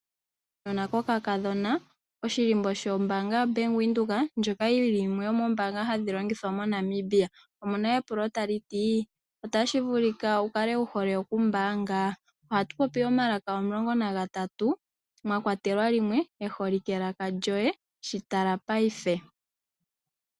Okanona kokakadhona, oshihako shombanga yaVenduka ndjoka yili yimwe yomombanga hadhi longithwa moNamibia. Omuna epulo tali ti: Otashi vulika wu hole okumbaga? Ohatu popi omalaka omulongo nagatatu mwakwatelwa limwe lyelaka lyoye. shi tala paife.